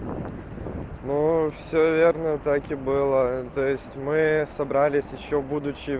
ну всё верно так и было то есть мы собрались ещё будучи